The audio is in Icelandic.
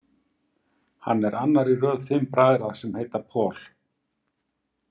Hann er annar í röð fimm bræðra sem heita Paul.